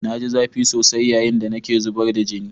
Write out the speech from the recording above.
Na ji zafi sosai yayin da nake zubar da jini.